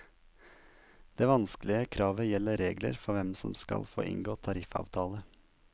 Det vanskelige kravet gjelder regler for hvem som skal få inngå tariffavtale.